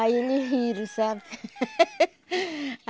Aí ele riram, sabe?